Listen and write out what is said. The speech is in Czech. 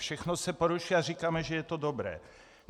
Všechno se porušuje a říkáme, že je to dobré.